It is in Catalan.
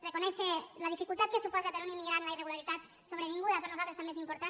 reconèixer la dificultat que suposa per a un immigrant la irregularitat sobrevinguda per nosaltres també és important